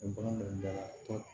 bagan dɔnkilida la